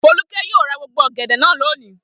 Folúkẹ́ yóò ra gbogbo ọ̀gẹ̀dẹ̀ náà lónìí!